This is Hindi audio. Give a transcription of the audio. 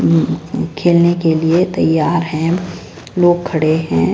खेलने के लिए तैयार है लोग खड़े हैं।